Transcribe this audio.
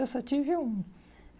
Eu só tive um.